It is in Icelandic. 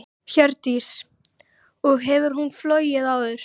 Hjördís: Og hefur hún flogið áður?